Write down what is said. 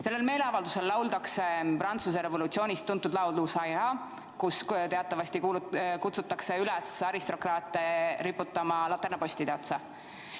Sellel meeleavaldusel lauldakse Prantsuse revolutsioonist tuntud laulu "Ça Ira", milles teatavasti kutsutakse üles aristokraate riputatama laternapostide otsa.